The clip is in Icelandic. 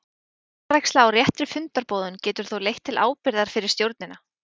Vanræksla á réttri fundarboðun getur þó leitt til ábyrgðar fyrir stjórnina.